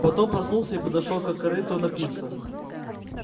потом проснулся и подошёл к корыту напиться